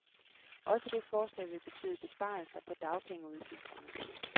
Også det forslag vil betyde besparelser på dagpengeudgifterne.